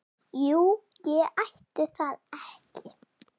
Jú, ætli það ekki!